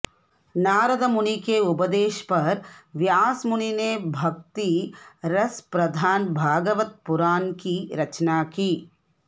नारदमुनि के उपदेश पर व्यास मुनि ने भक्ति रस प्रधान भागवत पुराण की रचना की